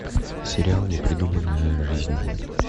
сериал непридуманная жизнь